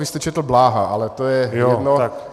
Vy jste četl Bláha, ale to je jedno.